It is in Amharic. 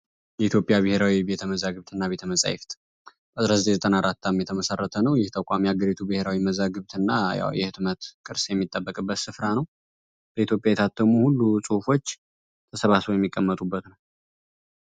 የኢትዮጵያ ብሔራዊ ቤተመፃፍትና ቤተ መዛግብት 1994 ዓ.ም የተመሰረተ ነው የሀገሪቱ ቤተ መዛግብትና የህትመት ቅርስ የሚጠበቅበት ስፍራ ነው ኢትዮጵያ የታተሙ ሁሉ ጽሁፎች ተሰባስበው የተቀመጡበት ነው።